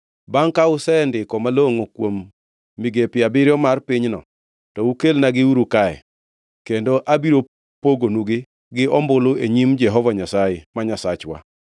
Bangʼ ka usendiko malongʼo kuom migepe abiriyo mar pinyno, to ukelnagiuru kae kendo abiro pogonugi gi ombulu e nyim Jehova Nyasaye ma Nyasachwa.